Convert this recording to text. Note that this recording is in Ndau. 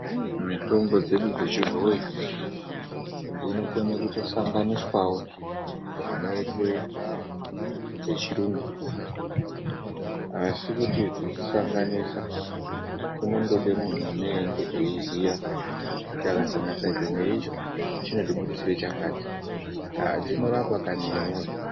Mitombo dzedu dzechibhoyi dzinokone kutosanganiswawo zvinoitwe dzechirungu idzi, asi kuti kudzisanganisa kunondode muntu anenge eiziya kuti akasanganisa ichi neichi chinotibudisira chakati aa dzinorapa kani imwi woye.